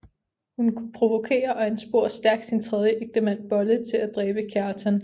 Hun provokerer og ansporer stærkt sin tredje ægtemand Bolle til at dræbe Kjartan